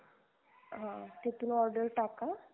हा तिथून order टाका